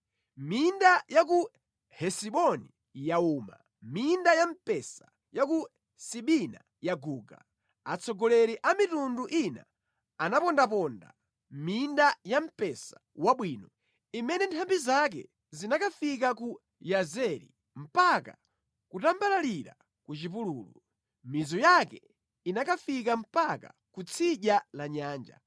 Minda ya ku Hesiboni yauma, minda ya mpesa ya ku Sibina yaguga. Atsogoleri a mitundu ina anapondaponda minda ya mpesa wabwino, imene nthambi zake zinakafika ku Yazeri, mpaka kutambalalira ku chipululu. Mizu yake inakafika mpaka ku tsidya la nyanja.